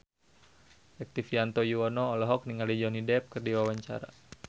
Rektivianto Yoewono olohok ningali Johnny Depp keur diwawancara